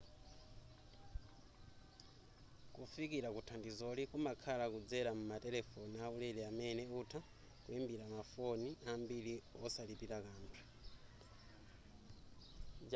kufikila kuthandizoli kumakhala kudzela m'matelefoni aulere amene utha kuimbila mafoni ambili osalipila kanthu